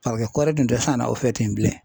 kɔri dun tɛ sanna u fɛ ten bilen.